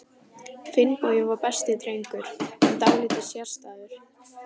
Finnbogi var besti drengur, en dálítið sérstæður.